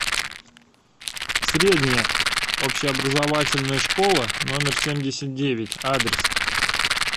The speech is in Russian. средняя общеобразовательная школа номер семьдесят девять адрес